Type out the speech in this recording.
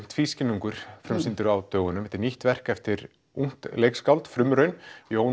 tvískinnungur frumsýndur á dögunum þetta er nýtt verk eftir ungt leikskáld frumraun Jón